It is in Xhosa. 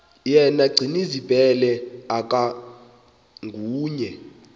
yena gcinizibele akanguye